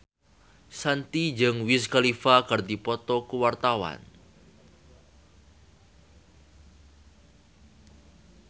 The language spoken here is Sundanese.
Shanti jeung Wiz Khalifa keur dipoto ku wartawan